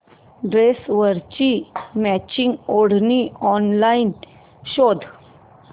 ड्रेसवरची मॅचिंग ओढणी ऑनलाइन शोध